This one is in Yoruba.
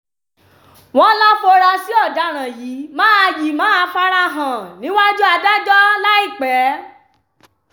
wọ́n láforasí ọ̀daràn yìí máa yìí máa fara hàn níwájú adájọ́ láìpẹ́